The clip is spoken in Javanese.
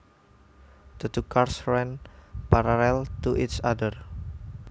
The two cars ran parallel to each other